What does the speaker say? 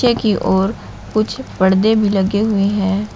पीछे की ओर कुछ परदे भी लगे हुए हैं।